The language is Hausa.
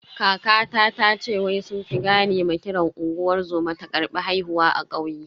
Kakata tace wai sun fi gane ma kiran unguwar zoma ta karbi haihuwa a kauye.